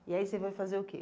E aí você vai fazer o que?